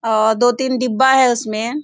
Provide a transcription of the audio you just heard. औ दो-तीन डिब्बा है उसमें।